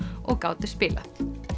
og gátu spilað